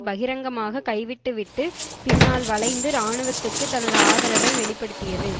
பகிரங்கமாக கைவிட்டுவிட்டு பின்னால் வளைந்து இராணுவத்துக்கு தனது ஆதரவை வெளி படுத்தியது